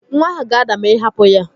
Nwa ahụ ga-ada ma ị hapụ ya